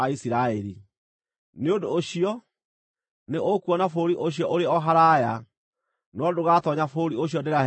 Nĩ ũndũ ũcio, nĩ ũkuona bũrũri ũcio ũrĩ o haraaya; no ndũgatoonya bũrũri ũcio ndĩrahe andũ a Isiraeli.”